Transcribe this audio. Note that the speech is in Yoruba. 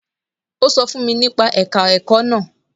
Ó sọ fún mi nípa ẹ̀ka ẹ̀kọ́ náà.